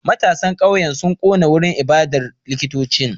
Matasan kauyen sun kona wurin ibadar likitocin